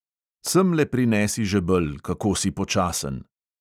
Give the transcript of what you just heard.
Semle prinesi žebelj, kako si počasen!